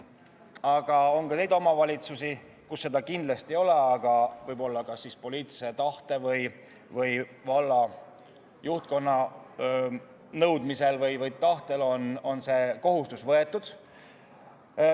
Aga on ka neid omavalitsusi, kus seda kindlasti ei ole, aga võib-olla poliitilise tahte tõttu või valla juhtkonna nõudmisel või tahtel on see kohustus võetud.